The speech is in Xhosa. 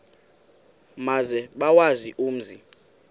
maze bawazi umzi